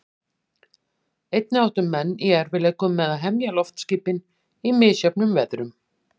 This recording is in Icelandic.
Einnig áttu menn í erfiðleikum með að hemja loftskipin í misjöfnum veðrum.